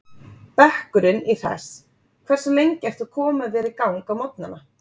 Bekkurinn í Hress Hversu lengi ertu að koma þér í gang á morgnanna?